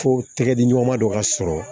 Fo tɛgɛdiɲɔgɔnma dɔ ka sɔrɔ